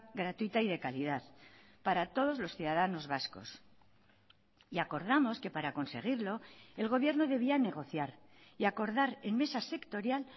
gratuita y de calidad para todos los ciudadanos vascos y acordamos que para conseguirlo el gobierno debía negociar y acordar en mesa sectorial